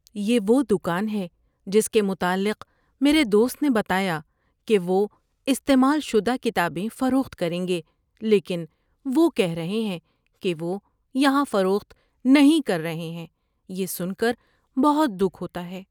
یہ وہ دکان ہے جس کے متعلق میرے دوست نے بتایا کہ وہ استعمال شدہ کتابیں فروخت کریں گے لیکن وہ کہہ رہے ہیں کہ وہ یہاں فروخت نہیں کر رہے ہیں۔ یہ سن کر بہت دکھ ہوتا ہے۔